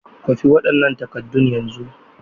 Kwafi waɗannan takaddun yanzu!